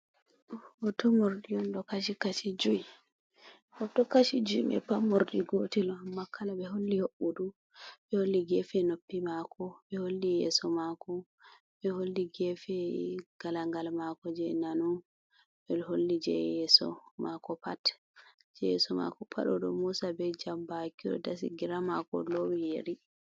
Hoto morɗi on, ɗo kashi-kashi jui. Hoto kashi jui mai pat morɗi gotel on, amma kala ɓe holli hoɓɓudu, ɓe holli geefe noppi maako, ɓe holli yeeso maako, ɓe holli geefe ngalagal maako je nano, ɓe ɗo holli je yeeso maako pat. Je yeeso mako pat oɗo moosa be jambaki, oɗo dasi gira maako lowi yeri.